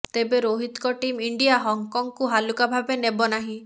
ତେବେ ରୋହିତଙ୍କ team India ହଂକଂକୁ ହାଲୁକା ଭାବେ ନେବନାହିଁ